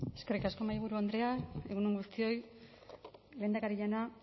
eskerrik asko mahaiburu andrea egun on guztioi lehendakari jauna